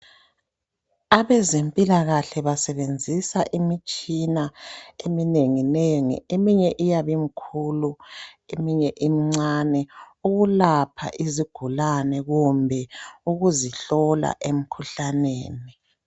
Abezempilakahle basebenzisa imitshina eminenginengi, eminye iyabe im'khulu, eminye im'ncane, ukulapha izigulane kumbe ukuzihlola emkhuhlaneni.